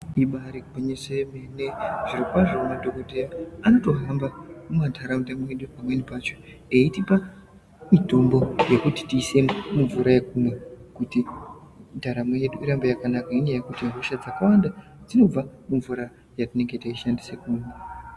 Ibaari gwinyiso yemene zvirokwazvo madhokokodheya anotohamba mumantharaunda mwedu pamweni pacho eitipa mitombo yekuti tiise mumvura yekumwa kuti ndaramo yedu irambe yakakanaka ngenyaya yekuti hosha dzakawanda dzinobva mumvura yatinenge teishandisa kumwa.